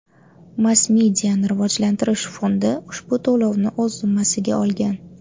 Mass-mediani rivojlantirish fondi ushbu to‘lovni o‘z zimmasiga olgan.